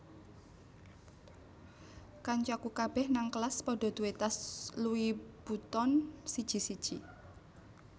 Kancaku kabeh nang kelas podo duwe tas Louis Vuitton siji siji